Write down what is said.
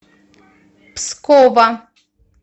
пскова